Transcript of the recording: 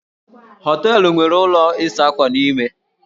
Hóteélụ̀ nwere ụlọ ịsa ákwà n'ime